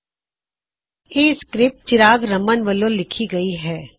ਇਹ ਲਿਖਤ ਰੂਪ ਚਿਰਾਗ ਰਮਨ ਵਲੋ ਲਿਖੀ ਗਈ ਹੈ